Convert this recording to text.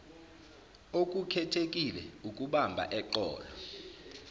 okukhethekile okumba eqolo